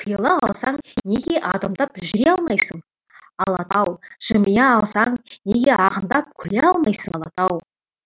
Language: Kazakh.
тыйыла алсаң неге адымдап жүре алмайсың алатау жымия алсаң неге ағындап күле алмайсың алатау